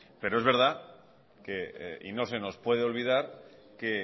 pero es verdad y no se nos puede olvidar que